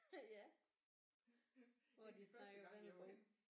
Ja hvor de snakker vendelbo